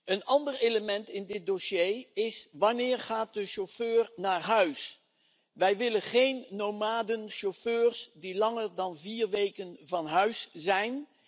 Een ander element in dit dossier is wanneer de chauffeur naar huis gaat. Wij willen geen nomadenchauffeurs die langer dan vier weken van huis zijn.